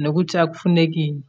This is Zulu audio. nokuthi akufuneki ini.